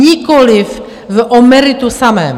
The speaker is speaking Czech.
Nikoliv o meritu samém.